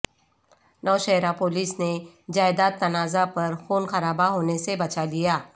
Nowshera police نے جائیداد تنازعہ پر خون خرابہ ہونے سے بچا لیا